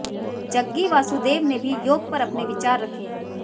जग्गी वासुदेव ने भी योग पर अपने विचार रखे